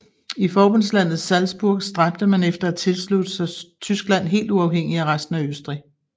I forbundslandet Salzburg stræbte man efter at tilslutte sig Tyskland helt uafhængigt af resten af Østrig